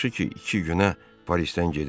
Yaxşı ki, iki günə Parisdən gedirik.